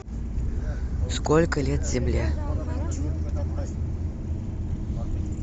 сколько лет земле